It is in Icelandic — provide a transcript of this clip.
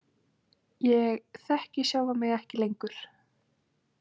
Ég þekki sjálfan mig ekki lengur.